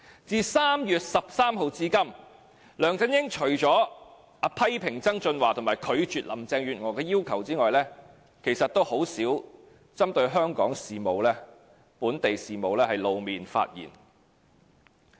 自3月13日至今，除了批評曾俊華及拒絕林鄭月娥的要求外，他很少針對香港的本地事務露面和發言。